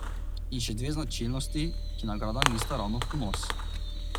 In še dve značilnosti, ki nagradam nista ravno v ponos.